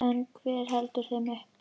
En hver heldur þeim uppi?